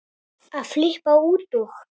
að flippa út og